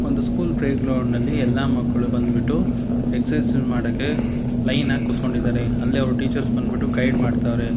ಒಂದು school playground ನಲ್ಲಿ ಎಲ್ಲಾ ಮಕ್ಕಳು ಬಂದ್ಬಿಟ್ಟು ಎಕ್ಸರ್ಸೈಜ್ ಮಾಡೋಕೆ ಲೈನಾ ಗ್ ಕುತ್ಕೊಂಡಿದಾರೆ ಅಲ್ಲೇ ಅವರ್ ಟೀಚರ್ಸ್ ಬಂದ್ಬಿಟ್ಟು ಗೈಡ್ ಮಾಡ್ತಾವ್ರೆ.